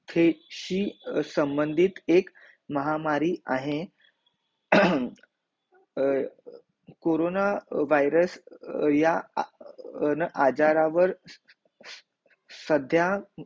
ते ची संबंधीत एक महामारी आहे कोरोना वायरस या आजारावर सध्या